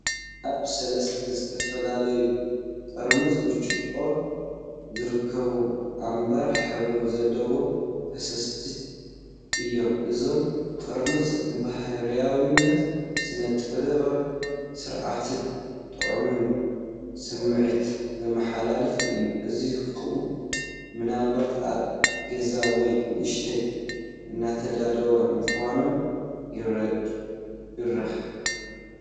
ኣብ ሰለስተ ዝተፈላለየ ጥርሙዝ ብርጭቆ ዝርከቡ ኣምበር ሕብሪ ዘለዎም ፈሳሲታት እዮም። እዞም ጥርሙዝ ፡ ንባህርያዊነትን ስነ-ጥበባዊ ስርሓትን ጥዑይን ስምዒት ዘመሓላልፉ እዮም፣ እዚ ኸኣ ምናልባት ኣብ ገዛ ወይ ንመሸጣ እተዳለዉ ምዃኖም ይሕብር።